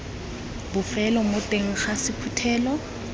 bofelo mo teng ga sephuthelo